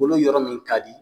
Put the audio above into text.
kolo yɔrɔ min ka di